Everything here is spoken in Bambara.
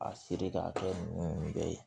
A seri k'a kɛ nɛgɛ ye